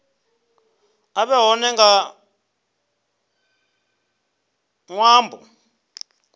a vhe hone nga ṅwambo